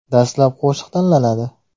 Dastlab qo‘shiq tanlanadi.